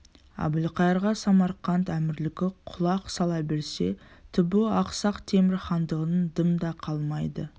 әбілқайырға самарқант әмірлігі құлақ сала берсе түбі ақсақ темір хандығынан дым да қалмайды